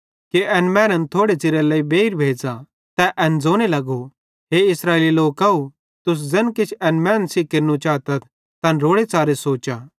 तै एन ज़ोने लगो हे इस्राएली लोकव तुस ज़ैन किछ एन मैनन् सेइं केरनू चातथ तैन रोड़ेच़ारे सोचा